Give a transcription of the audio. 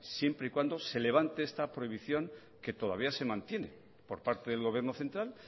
siempre y cuando se levante esta prohibición que todavía se mantiene por parte del gobierno central